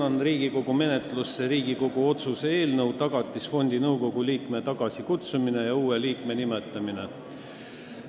Annan Riigikogu menetlusse Riigikogu otsuse "Tagatisfondi nõukogu liikme tagasikutsumine ja uue liikme nimetamine" eelnõu.